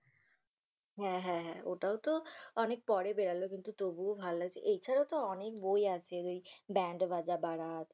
হ্যা হ্যা হ্যা, ওটাও তো অনেক পরে বেরোল কিন্তু তবুও ভালো হয়েছে । এছাড়াও তো অনেক বই আছে ওই ব্যান্ড বাঁজা বারাত